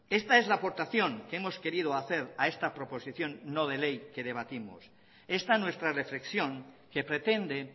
esta es la aportación que hemos querido hacer a esta proposición no de ley que debatimos esta nuestra reflexión que pretende